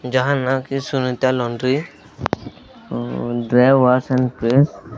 ଯାହା ନା କି Sunita laundry dry wash and cleans --